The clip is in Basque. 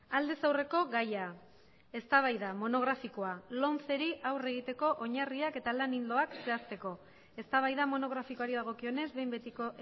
aldez aurreko gaia eztabaida monografikoa lomceri aurre egiteko oinarriak eta lan ildoak zehazteko eztabaida monografikoari dagokionez behin betiko